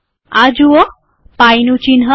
આ જુઓ પાઈનું ચિહ્ન